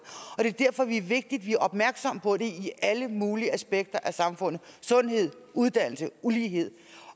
og det er derfor det er vigtigt at vi er opmærksomme på dem i alle mulige aspekter af samfundet sundhed uddannelse ulighed